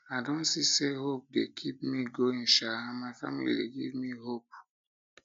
i don see say hope dey keep me going sha and my family dey give me hope me hope